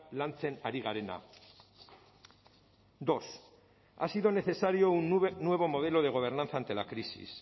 lantzen ari garena dos ha sido necesario un nuevo modelo de gobernanza ante la crisis